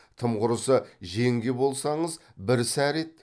тым құрыса жеңге болсаңыз бір сәрі еді